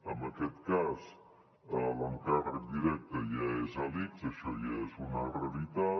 en aquest cas l’encàrrec directe ja és a l’ics això ja és una realitat